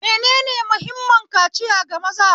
Menene mahimman kaciya ga maza?